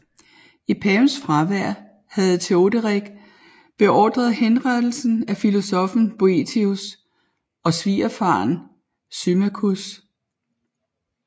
I pavens fravær havde Teoderik beordret henrettelsen af filosoffen Boethius og svigerfaren Symmachus